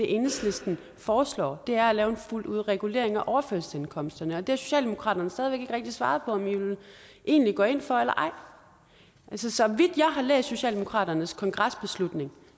enhedslisten foreslår er at lave en fuld regulering af overførselsindkomsterne og det har socialdemokratiet stadig rigtig svaret på om i egentlig går ind for eller ej så vidt jeg har læst socialdemokratiets kongresbeslutning